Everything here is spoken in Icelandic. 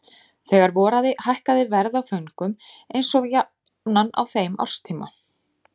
Þegar voraði hækkaði verð á föngum eins og jafnan á þeim árstíma.